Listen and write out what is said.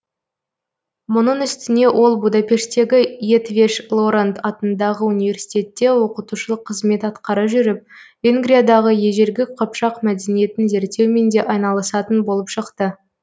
мұның үстіне ол будапештегі етвеш лоранд атындағы университетте оқытушылық кызмет атқара жүріп венгриядағы ежелгі қыпшақ мәдениетін зерттеумен де айналысатын болып шықты